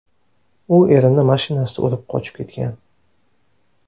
U erimni mashinasida urib qochib ketgan.